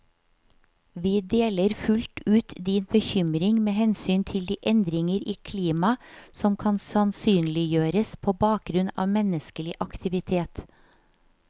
Vi deler fullt ut din bekymring med hensyn til de endringer i klima som kan sannsynliggjøres på bakgrunn av menneskelig aktivitet.